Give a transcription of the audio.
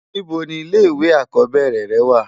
Nibò ni ilé iwé ákòbèrè rè wá?